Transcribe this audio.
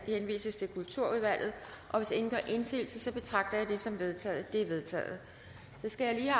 henvises til kulturudvalget hvis ingen gør indsigelse betragter jeg det som vedtaget det er vedtaget så skal jeg